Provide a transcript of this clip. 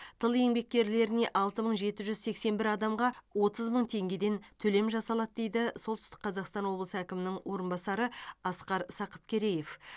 тыл еңбеккерлеріне алты мың жеті жүз сексен бір адамға отыз мың теңгеден төлем жасалады дейді солтүстік қазақстан облысы әкімінің орынбасары асқар сақыпкереев